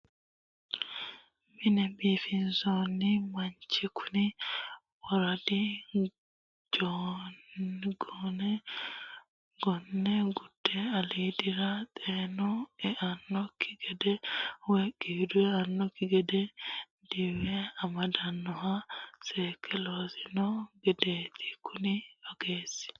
Mine biifissano manchi kuni worido gone gone gude aliidira xeenu eanokki gede woyi qiidu eanokki gede diwe amadanoha seekke loossani no gedeti kuni ogeesi.